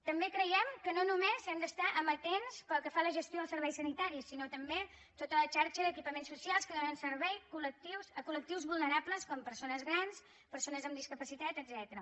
també creiem que no només hem d’estar amatents pel que fa a la gestió dels serveis sanitaris sinó també a tota la xarxa d’equipaments socials que donen servei a collectius vulnerables com persones grans persones amb discapacitat etcètera